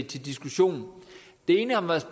til diskussion det ene har været